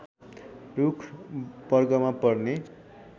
रूख वर्गमा पर्ने